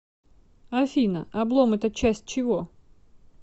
афина облом это часть чего